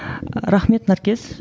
рахмет наркес